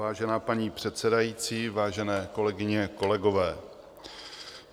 Vážená paní předsedající, vážené kolegyně, kolegové.